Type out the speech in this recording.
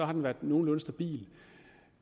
har den været nogenlunde stabil